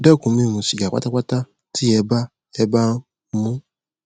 dẹkun mímú sìgá pátápátá tí ẹ bá ẹ bá ń mu ún